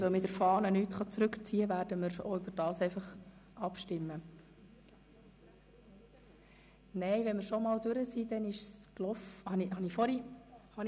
Weil nichts zurückgezogen werden kann, was auf der Fahne vorhanden ist, werden wir ebenfalls darüber abstimmen.